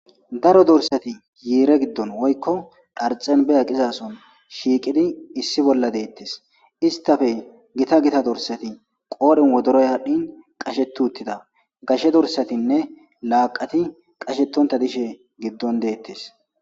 daro dorsati yiire giddon woykko dharxenbe aqizason shiiqidi issi bolla deettis istafe gita gita dorsati qoodhin wodoroy hadhdhin qashetu uttida gashe dorsatinne laaqati qashetonta dishe giddon deettis